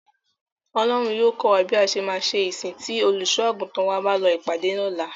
Ọlọ́run yóò kọ́ wa bí a ṣe máa ṣe ìsìn tí Olùṣọ́-àgùntàn wa bá lọ ìpàdé ní ọ̀la.